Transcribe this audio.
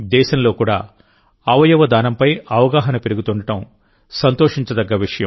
దేశంలో కూడా అవయవ దానంపై అవగాహన పెరుగుతుండడం సంతోషించదగ్గ విషయం